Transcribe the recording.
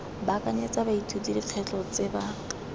baakanyetsa baithuti dikgwetlho tse ba